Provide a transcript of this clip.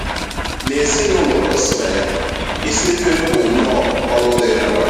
N’ezinụụlọ o si na ya, ịsa efere bụ nnọọ ọrụ dịịrị nwanyị.